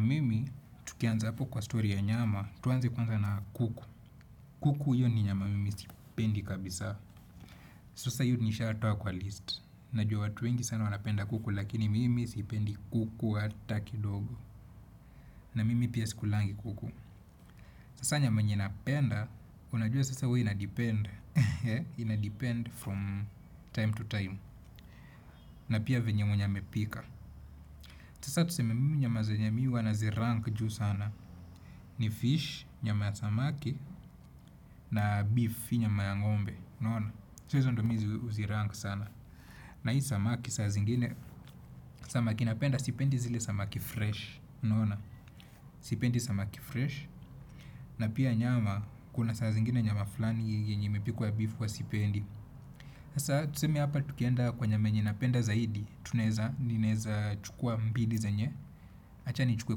Mimi, tukianza hapo kwa story ya nyama, tuanze kwanza na kuku. Kuku hiyo ni nyama mimi sipendi kabisa. Sasa hiyo nishatoa kwa list. Najua watu wengi sana wanapenda kuku lakini mimi sipendi kuku hata kidogo. Na mimi pia sikulangi kuku. Sasa nyama yenye napenda, unajua sasa huwa inadepend, inadepend from time to time, na pia venye mwenye amepika. Sasa tuseme mimi nyama zenye mi huwa nazirank juu sana, ni fish, nyama ya samaki, na beef, nyama ya ngombe, unaona? So hizo ndomi zi huzirank sana. Na hii samaki, saa zingine, samaki napenda, sipendi zile samaki fresh, unaona? Sipendi samaki fresh. Na pia nyama kuna saa zingine nyama flani yenye imepikwa ya beef huwa sipendi. Sasa tuseme hapa tukienda kwa nyama yenye napenda zaidi. Tuneza naeza chukua mbili zenye acha nichukue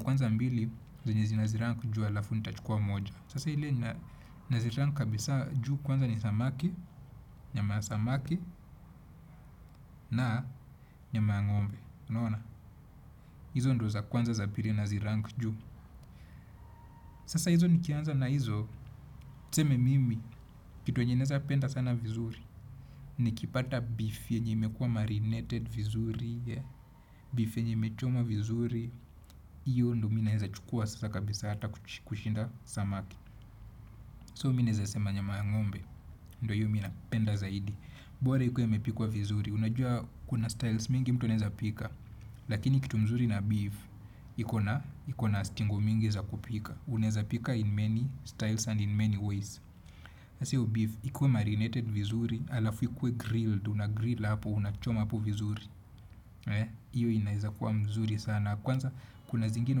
kwanza mbili zenye zi nazirank juu halafu nitachukua moja. Sasa ile nazirank kabisa juu kwanza ni samaki. Nyama ya samaki na nyama ya ngombe. Izo ndo za kwanza za pili nazirank juu. Sasa hizo nikianza na izo. Tuseme mimi, kitu yenye naeza penda sana vizuri. Nikipata beef yenye imekuwa marinated vizuri. Beef yenye imechomwa vizuri. Iyo ndo mi naeza chukua sasa kabisa hata kushinda samaki So mi naeza sema nyama ngombe. Ndo hiyo mi napenda zaidi. Bora ikuwa imepikwa vizuri. Unajua kuna styles mingi mtu anaeza pika. Lakini kitu mzuri na beef iko na, iko na stingo mingi za kupika. Unaeza pika in many styles and in many ways sasa hiyo beef, ikuwe marinated vizuri, alafu ikuwe grilled, unagrill hapo, unachoma hapo vizuri. Iyo inaeza kuwa mzuri sana. Kwanza, kuna zingine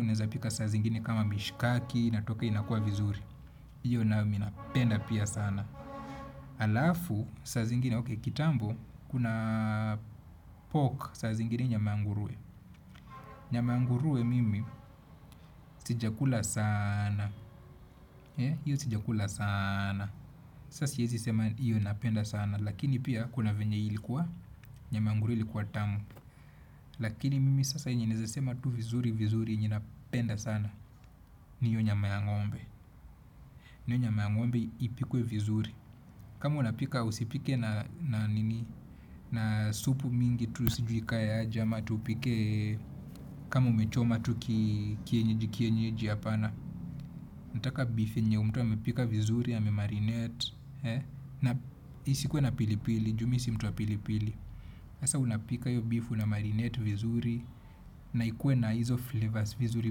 unaeza pika saa zingini kama mishkaki, inatoka inakuwa vizuri. Iyo nayo, mi napenda pia sana. Alafu, saa zingine, oke, kitambo, kuna pork saa zingine nyama ya nguruwe. Nyama ya nguruwe mimi, sijakula sana. Iyo sijakula sana. Sasa siezi sema iyo napenda sana. Lakini pia kuna venye ilikuwa nyama ya nguruwe ilikuwa tamu. Lakini mimi sasa yenye naeza sema tu vizuri vizuri yenye napenda sana. Ni hiyo nyama ya ngombe. Na hiyo nyama ya ngombe ipikwe vizuri. Kama unapika usipike na nini. Na supu mingi tu sijui ikae aje. Kama umechoma tu kienyeji kienyeji. Apana. Nataka beef yenye mtu amepika vizuri amemarinate. Na isikuwe na pili pili. Ju mi si mtu wa pili pili sasa unapika hiyo beef unamarinate vizuri. Na ikuwe na hizo flavors vizuri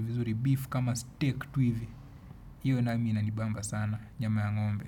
vizuri. Beef kama steak tu hivi. Iyo nami inanibamba sana. Nyama ya ngombe.